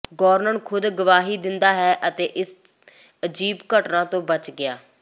ਗੌਰਨਨ ਖ਼ੁਦ ਗਵਾਹੀ ਦਿੰਦਾ ਹੈ ਅਤੇ ਇਸ ਅਜੀਬ ਘਟਨਾ ਤੋਂ ਬਚ ਗਿਆ ਹੈ